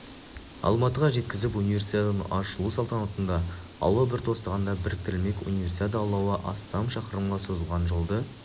алматыға жеткізіп универсиаданың ашылу салтанатында алау бір тостағанда біріктірілмек универсиада алауы астам шақырымға созылған жолды